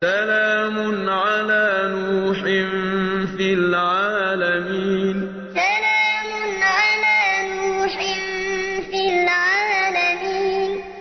سَلَامٌ عَلَىٰ نُوحٍ فِي الْعَالَمِينَ سَلَامٌ عَلَىٰ نُوحٍ فِي الْعَالَمِينَ